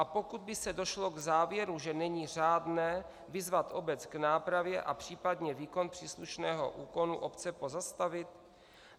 A pokud by se došlo k závěru, že není řádné, vyzvat obec k nápravě a případně výkon příslušného úkonu obce pozastavit?